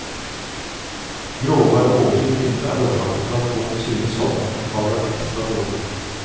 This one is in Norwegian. Gråvær og overskyet himmel er årsaken til at folk synes sommeren har vært ekstra dårlig.